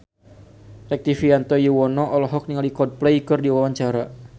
Rektivianto Yoewono olohok ningali Coldplay keur diwawancara